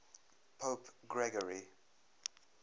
pope gregory